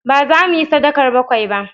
Ba zamu yi sadakar bakwai ba